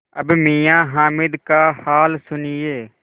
अब मियाँ हामिद का हाल सुनिए